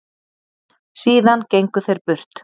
Síðan gengu þeir burt.